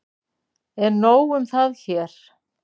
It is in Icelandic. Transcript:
En nóg um það hér.